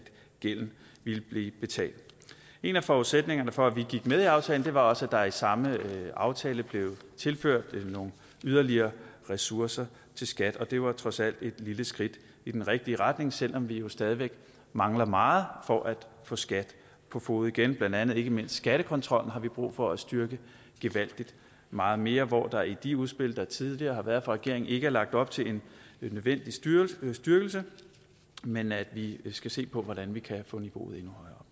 gælden vil blive betalt en af forudsætningerne for at vi gik med i aftalen var også at der i samme aftale blev tilført nogle yderligere ressourcer til skat og det var trods alt et lille skridt i den rigtige retning selv om vi jo stadig væk mangler meget for at få skat på fode igen blandt andet ikke mindst skattekontrolloven har vi brug for at styrke gevaldig meget mere hvor der i de udspil der tidligere har været fra regeringen ikke er lagt op til en nødvendig styrkelse men styrkelse men at vi skal se på hvordan vi kan få niveauet endnu